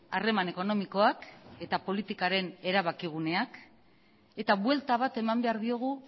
harreman ekonomikoak eta politikaren erabaki guneak eta buelta bat eman behar diogu